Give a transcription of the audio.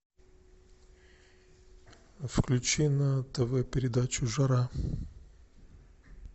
включи на тв передачу жара